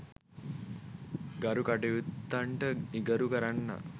ගරු කටයුත්තන්ට නිගරු කරන්නා